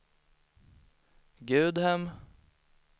Gudhem